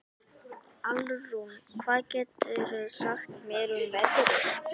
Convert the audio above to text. Alrún, hvað geturðu sagt mér um veðrið?